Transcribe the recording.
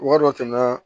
Wari dɔ tɛmɛ